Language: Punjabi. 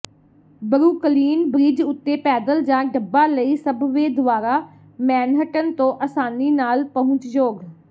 ਬਰੁਕਲਿਨ ਬ੍ਰਿਜ ਉੱਤੇ ਪੈਦਲ ਜਾਂ ਡੱਬਾ ਲਈ ਸਬਵੇਅ ਦੁਆਰਾ ਮੈਨਹਟਨ ਤੋਂ ਆਸਾਨੀ ਨਾਲ ਪਹੁੰਚਯੋਗ